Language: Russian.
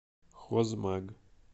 хозмаг